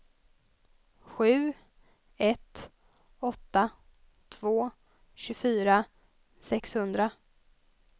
sju ett åtta två tjugofyra sexhundra